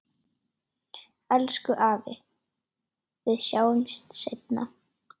Elsku afi, við sjáumst seinna.